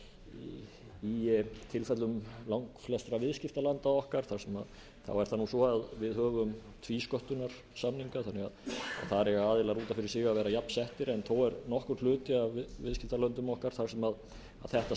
í tilfellum langflestra viðskiptalanda okkar þá er það svo að við höfum tvísköttunarsamninga þannig að þar eiga aðilar út af fyrir sig að vera jafnsettir en þó er nokkur hluti af viðskiptalöndum okkar þar sem þetta